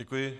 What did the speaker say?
Děkuji.